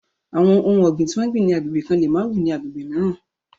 Àwọn ohun ọ̀gbìn tí wọ́n gbìn ni agbègbè kan lè má wù ní agbègbè mìíràn.